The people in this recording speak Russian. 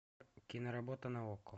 киноработа на окко